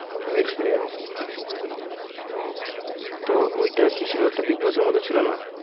MX Player তো ওটা কি ছিল ওটা big bigboss এর মতো ছিল না